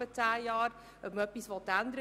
Wir kommen zur Abstimmung.